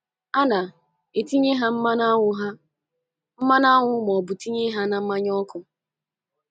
A na etinye ha mmanụ aṅụ ha mmanụ aṅụ ma ọ bụ tinye ha na mmanya ọkụ.